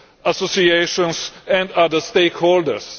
associations and other stakeholders.